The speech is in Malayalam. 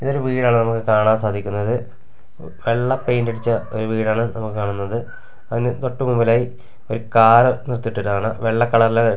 ഇതൊരു വീടാണ് നമുക്ക് കാണാൻ സാധിക്കുന്നത് വെള്ള പെയിൻറ് അടിച്ച ഒരു വീടാണ് നമുക്ക് കാണുന്നത് അതിനു തൊട്ടുമുന്നിലായി ഒരു കാറു നിർത്തിയിട്ടുണ്ട് വെള്ള കളറിലെ --